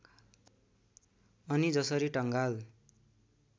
अनि जसरी टङ्गाल